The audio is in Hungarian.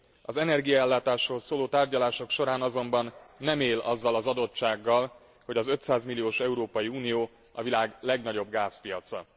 Az energiaellátásról szóló tárgyalások során azonban nem él azzal az adottsággal, hogy az 500 milliós Európai Unió a világ legnagyobb gázpiaca.